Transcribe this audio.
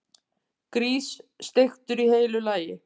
Grís, steiktur í heilu lagi!